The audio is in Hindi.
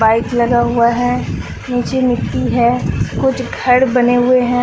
पाइप लगा हुआ है नीचे मिट्टी है कुछ घर बने हुए हैं।